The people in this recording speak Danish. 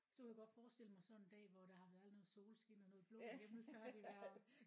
Så kunne jeg godt forestille mig sådan en dag hvor der har været noget solskin og noget blå himmel så har det bare